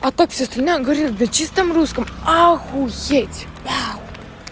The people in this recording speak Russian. а так всё остальное говорит на чистом русском охуеть вау